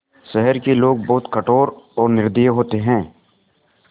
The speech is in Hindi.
शहर के लोग बहुत कठोर और निर्दयी होते हैं